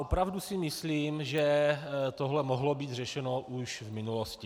Opravdu si myslím, že tohle mohlo být řešeno už v minulosti.